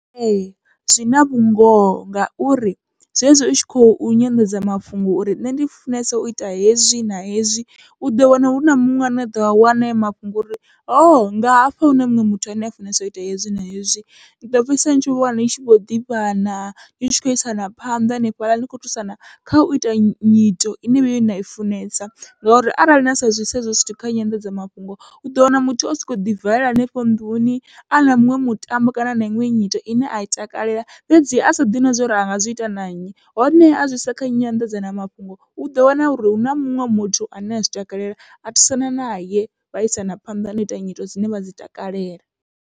Ee zwi na vhungoho ngauri zwezwi u tshi kho nyanḓadzamafhungo uri nṋe ndi funesa uita hezwi na hezwi, uḓo wana huna muṅwe ane aḓo a wana hayo mafhungo uri hoho nga hafha hune muṅwe muthu ane a funesa uita hezwi na hezwi, uḓo fhedzisela ni tshi wana ni tshi vho ḓivhana ni tshi khou isana phanḓa hanefhaḽa ni kho thusana kha uita nyito ine vheiwe nai funesa. Ngauri arali na sa zwi isa hezwo zwithu kha nyanḓadzamafhungo uḓo wana muthu osoko ḓi valela hanefho nnḓuni ana muṅwe mutambo kana na iṅwe nyito ine ai takalela fhedzi asa ḓivhi zwori anga zwi ita na nnyi, hone azwi isa kha nyanḓadzamafhungo uḓo wana uri huna muṅwe muthu ane azwi takalela a thusana naye vha isana phanḓa nau ita nyito dzine vha dzi takalela.